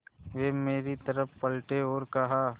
वे मेरी तरफ़ पलटे और कहा